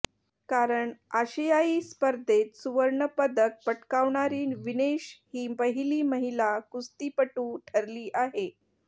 कारण आशियाई स्पर्धेत सुवर्णपदक पटकावणारी विनेश ही पहिली महिला कुस्तीपटू ठरली आहे